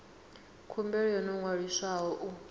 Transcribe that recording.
khumbelo yo no ṅwaliswaho u